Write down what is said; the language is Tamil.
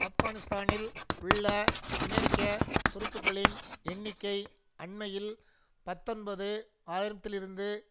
ஆப்கனிஸ்தானில் உள்ள அமெரிக்க துருப்புக்களின் எண்ணிக்கை அண்மையில் பத்தொன்பது ஆயிரம்திலிருந்து